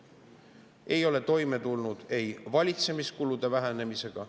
Ta ei ole toime tulnud valitsemiskulude vähendamisega.